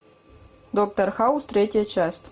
доктор хаус третья часть